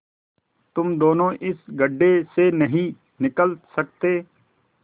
तुम दोनों इस गढ्ढे से नहीं निकल सकते